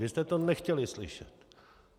Vy jste to nechtěli slyšet.